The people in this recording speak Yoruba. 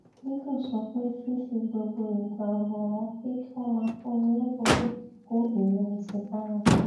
gígùn sọ pé fífi gbogbo ìgbà rò wón pé kí wón máa fúnni lébùn lè kó ìrèwèsì báni